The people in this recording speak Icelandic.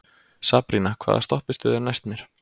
Sabrína, hvaða stoppistöð er næst mér?